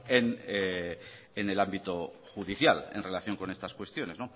en el ámbito judicial en relación con estas cuestiones